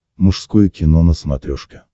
мужское кино на смотрешке